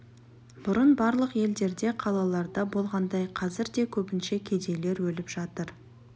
бұрын барлық елдерде қалаларда болғандай қазір де көбінше кедейлер өліп жатыр